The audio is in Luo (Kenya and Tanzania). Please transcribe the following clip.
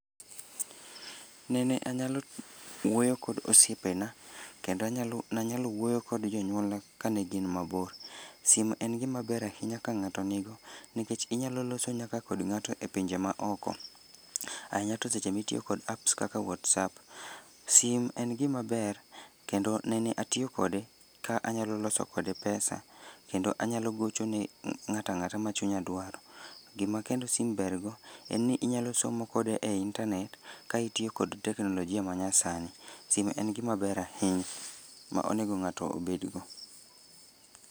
Nene anyalo wuoyo kod osiepe na kendo anyalo ne anyalo wuoyo kod jonyuolna kaka ne gin ma bor. Simo en gi ma ber ahinya ka ng'ato ni go nikech inyalo nyaka loso gi ng'at man oko. Ahinya to seche mi itiyo gi apps kaka whatsapp. Sim en gi ma ber nene atiyo kode ka anyalo loso kode pesa kendo anyalo gochone ng'ato ang'ata ma chunya dwaro. Gi ma kendo sim ber go en ni inyalo somo kode e intanet ka itiyo kod teknolojia ma nyasani. Simo en gi ma ber ahinya ma onego ng'ato obed go.